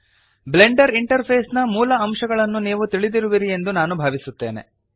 Blender interface ನ ಮೂಲ ಅಂಶಗಳನ್ನು ನೀವು ತಿಳಿದಿರುವಿರಿ ಎಂದು ನಾನು ಭಾವಿಸುತ್ತೇನೆ